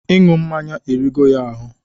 Iǹụ mmaǹya erigo ya ahụ.